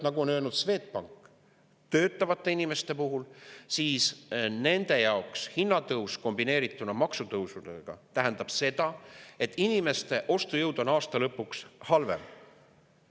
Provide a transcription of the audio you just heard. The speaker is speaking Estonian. Nagu on öelnud Swedbank töötavate inimeste puhul, nende jaoks tähendab hinnatõus kombineerituna maksutõusudega seda, et nende ostujõud on aasta lõpuks halvem.